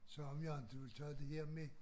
Sagde om jeg inte ville tage det her med